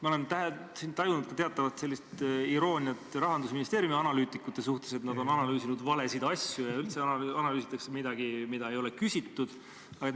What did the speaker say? Ma olen siin tajunud teatavat irooniat Rahandusministeeriumi analüütikute suhtes: nad on nagu analüüsinud valesid asju ja üldse analüüsitakse midagi, mille kohta ei ole küsitud.